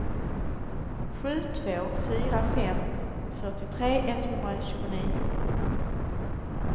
sju två fyra fem fyrtiotre etthundratjugonio